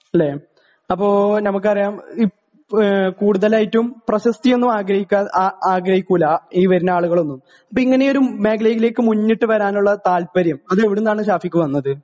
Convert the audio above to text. അല്ലേ അപ്പോ നമ്മക്കറിയാം ഇപ് കൂടുതലായിട്ടും പ്രശസ്തി ഒന്നും ആഗ്രഹിക്ക ആഗ്രഹിക്കൂല ഈ വരുന്ന ആളുകളൊന്നും ഇതിങ്ങനെ ഒരു മേഖലയിലേക്ക് മുന്നിട്ട് വരാനുള്ള താല്പര്യം അത് എവിടുന്നാണ് ഷാഫിക്ക് വന്നത്